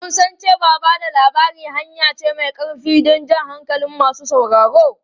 Mun san cewa ba da labari hanya ce mai ƙarfi don jan hankalin masu sauraro.